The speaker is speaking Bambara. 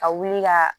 Ka wuli ka